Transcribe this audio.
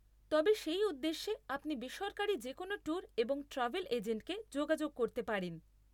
তবে, সেই উদ্দেশ্যে আপনি বেসরকারি যেকোনও ট্যুর এবং ট্র্যাভেল এজেন্টকে যোগাযোগ করতে পারেন।